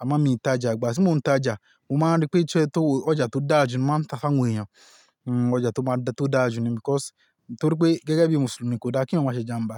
a mọ́ mí tajà, igba ti mo ń tajà mo máa rí pé ìṣe tó ọjà tó dáa jù ni mo máa ń ta fún àwọn èèyàn. Hmm ọjà tó máa tó dáa jù ni because nítorí pé gẹ́gẹ́ bí Mùsùlùmí kò dá kí èèyàn má ṣe ìjàmbá.